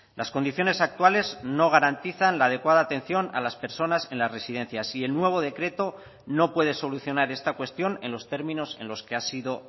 las condiciones actuales no garantizan la adecuada atención a las personas en las residencias y el nuevo decreto no puede solucionar esta cuestión en los términos en los que ha sido